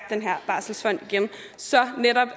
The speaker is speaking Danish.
den her barselsfond så netop